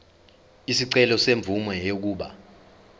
isicelo semvume yokuba